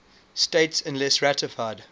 states unless ratified